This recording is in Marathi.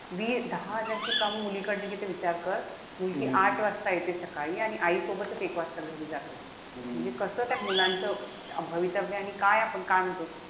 दहा हजार ती कामं ती मुलीकडनं घेते विचार कर. मुलगी आठ वाजता आणि आईसोबतच एक वाजता घरी जाते. म्हणजे कस त्या मुलांचं भवितव्य आणि काय आपण काय म्हणतो,